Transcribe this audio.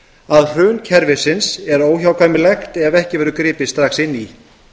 að hrun kerfisins er óhjákvæmilegt ef ekki verður gripið strax inn í